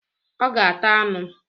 Ọ ga-ata anụ